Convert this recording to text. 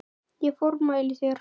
Ég formæli þér